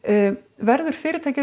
verður fyrirtækið